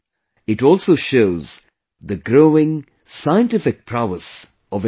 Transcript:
It also shows the growing scientific prowess of India